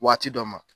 Waati dɔ ma